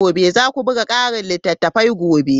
Za ku buga ƙarin littattafai gobe.